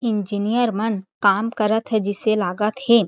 Engineer मन काम करत हे जइसे लागत हे।